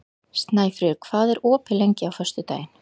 Snæfríður, hvað er opið lengi á föstudaginn?